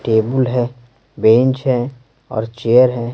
Table है bench है और चेयर है।